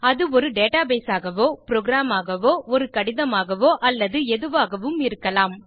அது ஒரு டேட்டாபேஸ் ஆகவோ புரோகிராம் ஆகவோ ஒரு கடிதமாகவோ அல்லது எதுவாகவும் இருக்கலாம்